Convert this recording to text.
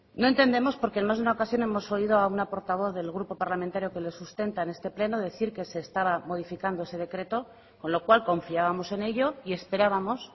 no entendemos porque en más de una ocasión hemos oído a una portavoz del grupo parlamentario que lo sustenta en este pleno decir que se estaba modificando ese decreto con lo cual confiábamos en ello y esperábamos